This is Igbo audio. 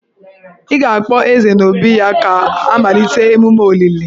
Ị ga-akpọ Eze n'obí ya ka a malite emume olili.